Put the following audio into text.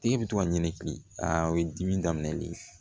Tigi bɛ to ka ɲini ki a ye dimi daminɛ de